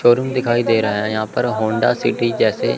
showroom दिखाई दे रहा है यहां पर होंडा सिटी जैसे--